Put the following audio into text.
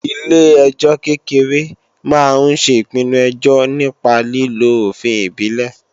Ilé-ẹjọ́ kékeré máa ń ṣe ìpinnu ẹjọ́ nípa lílo òfin ìbílẹ̀